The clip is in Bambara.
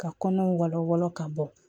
Ka kɔnɔw wala wala ka bɔ